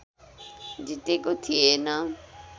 जितेको थिएन